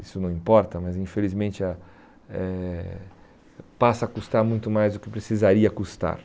Isso não importa, mas infelizmente ah eh passa a custar muito mais do que precisaria custar.